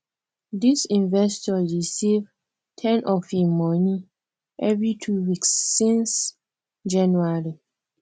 this investor dey save ten of him money every two weeks since january